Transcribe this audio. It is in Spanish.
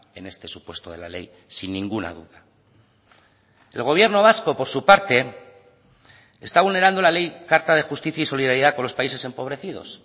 en este supuesto de la ley sin ninguna duda el gobierno vasco por su parte está vulnerando la ley carta de justicia y solidaridad con los países empobrecidos